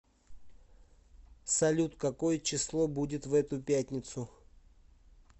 салют какое число будет в эту пятницу